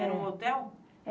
Era um hotel?